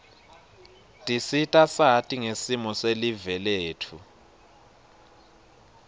tisita sati ngesimo selive letfu